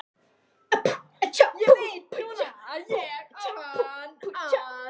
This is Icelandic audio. Ég veit núna að ég á hann að.